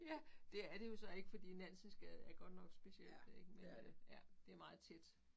Ja det er det jo så ikke fordi Nansensgade er godt nok specielt ik men ja det meget tæt